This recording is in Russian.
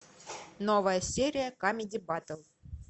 новая серия камеди баттл